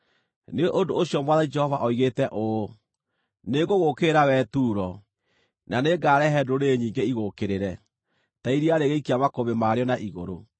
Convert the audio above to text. nĩ ũndũ ũcio Mwathani Jehova oigĩte ũũ: Nĩngũgũũkĩrĩra wee Turo, na nĩngarehe ndũrĩrĩ nyingĩ igũũkĩrĩre, ta iria rĩgĩikia makũmbĩ marĩo na igũrũ.